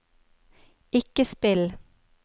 ikke spill